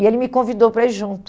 E ele me convidou para ir junto.